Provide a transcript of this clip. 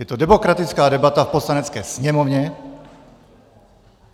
Je to demokratická debata v Poslanecké sněmovně.